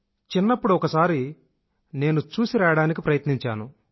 చిన్నప్పుడు ఒకసారి నేను చూసిరాయడానికి ప్రయత్నించాను